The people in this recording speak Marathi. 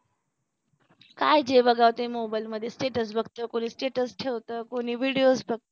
काय जे बघावं ते मोबाइल मध्ये status बघत कुणी status ठेवत कोणी videos बघ